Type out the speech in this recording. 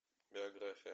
биография